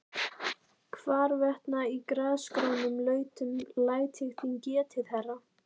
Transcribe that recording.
Hvarvetna í grasgrónum lautum læt ég þín getið, herra.